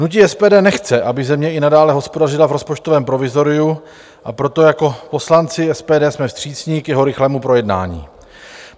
Hnutí SPD nechce, aby země i nadále hospodařila v rozpočtovém provizoriu, a proto jako poslanci SPD jsme vstřícní k jeho rychlému projednání.